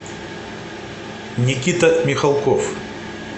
никита михалков